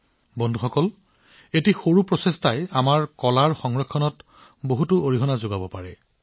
যদি আমাৰ দেশৰ লোকসকল সংকল্পবদ্ধ হয় তেন্তে সমগ্ৰ দেশতে আমাৰ প্ৰাচীন কলাবোৰ সজোৱা আৰু ৰক্ষা কৰাৰ মনোভাৱ এক গণ আন্দোলনত পৰিণত হব পাৰে